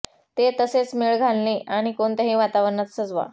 ते तसेच मेळ घालणे आणि कोणत्याही वातावरणात सजवा